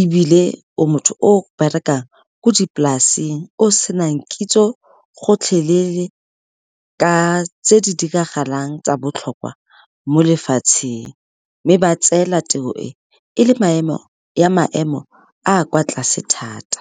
ebile o motho o berekang ko dipolasing o senang kitso gotlhelele ka tse di diragalang tsa botlhokwa mo lefatsheng, mme ba tseela tiro e e le maemo ya maemo a kwa tlase thata.